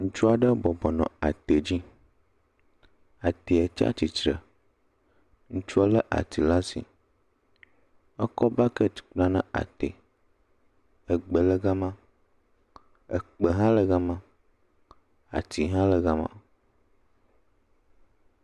Ŋutsu aɖe bɔbɔ nɔ ate dzi, ate tsatsitre, ŋutsuɔ lé ati le asi, ekɔ bakɛt kpla ne ate, egbe le gama, ekpe hã le gama, ati hã le gama.